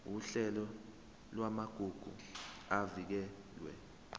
uhlelo lwamagugu avikelwe